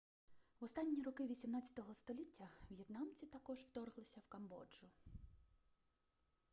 в останні роки 18 століття в'єтнамці також вторглися в камбоджу